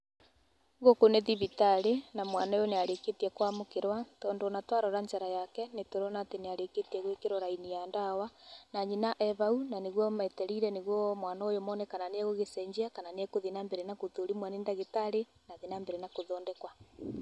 Gũkũ nĩ thibitarĩ na mwana ũyũ nĩarĩkĩtie kwamũkĩrwa, tondũ ona twarora njara yake nĩtũrona nĩarĩkĩtie gwĩkĩrwo raini ya ndawa. Na nyina e hau nanĩguo metereire na nĩguo mone kana mwana ũyũ nĩegũcenjia kana nĩegũthiĩ na mbere na gũthũrimwo nĩ ndagĩtarĩ na athiĩ na mbere na gũthondekwa.